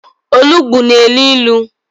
Olugbu na-elo ilo.